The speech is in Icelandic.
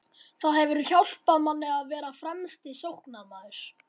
Það hefur hjálpað manni að vera fremsti sóknarmaður.